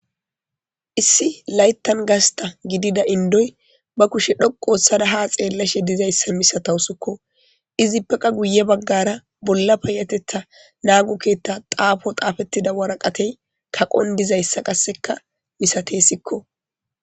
issi layttan gasta gidida indoy ba kushe dhoqu histada ha xeellashe dizayssa misatawu sikko izi peqa guye baggara bolla payatetha naagukketta xaafo xaafettida waraqatey kaqon dizayssa qasseka misate sikko